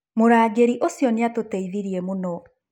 Mũrangĩri ũcio nĩ atũteithirie mũno